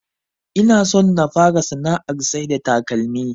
Inason na fara sana'ar saida takalmi